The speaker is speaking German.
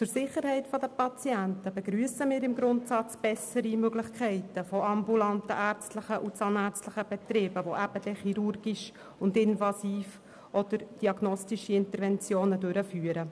Zur Sicherheit der Patienten begrüssen wir im Grundsatz bessere Möglichkeiten bei ambulanten ärztlichen und zahnärztlichen Betrieben, die chirurgische, invasive oder diagnostische Interventionen durchführen.